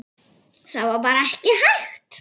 Það var bara ekki hægt.